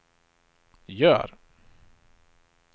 gör